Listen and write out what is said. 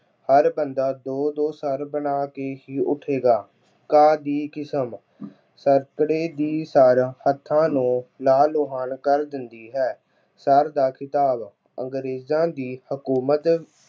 ਹਰ ਬੰਦਾ ਦੋ ਦੋ ਸਰ ਬਣਾ ਕੇ ਹੀ ਉੱਠੇਗਾ। ਘਾਹ ਦੀ ਕਿਸਮ- ਦੀ ਸਰ ਹੱਥਾਂ ਨੂੰ ਲਾਲ ਲੁਹਾਣ ਕਰ ਦਿੰਦੀ ਹੈ। ਸਰ ਦਾ ਖਿਤਾਬ- ਅੰਗਰੇਜ਼ਾਂ ਦੀ ਹਕੂਮਤ